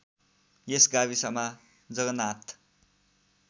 यस गाविसमा जगनाथ